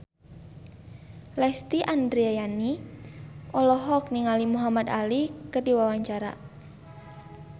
Lesti Andryani olohok ningali Muhamad Ali keur diwawancara